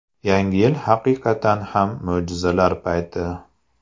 Yangi yil haqiqatan ham mo‘jizalar payti.